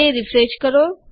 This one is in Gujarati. તે રીફ્રેશ કરો